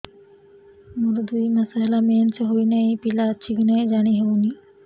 ମୋର ଦୁଇ ମାସ ହେଲା ମେନ୍ସେସ ହୋଇ ନାହିଁ ପିଲା ଅଛି କି ନାହିଁ ଜାଣି ହେଉନି